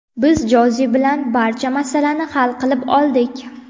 Biz Joze bilan barcha masalani hal qilib oldik.